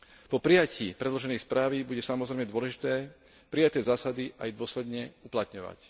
Po prijatí predloženej správy bude, samozrejme, dôležité prijaté zásady aj dôsledne uplatňovať.